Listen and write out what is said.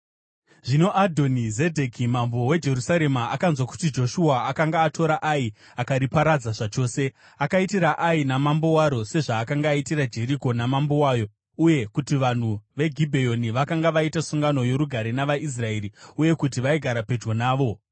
Zvino Adhoni-Zedheki mambo weJerusarema akanzwa kuti Joshua akanga atora Ai akariparadza zvachose, akaitira Ai namambo waro sezvaakanga aitira Jeriko namambo wayo, uye kuti vanhu veGibheoni vakanga vaita sungano yorugare navaIsraeri uye kuti vaigara pedyo navo.